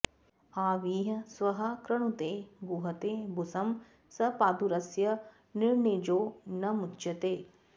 आविः स्वः कृणुते गूहते बुसं स पादुरस्य निर्णिजो न मुच्यते